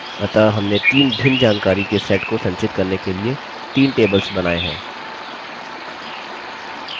अतः हमने तीन भिन्न जानकारी के sets को संचित करने के लिए तीन tables बनायें हैं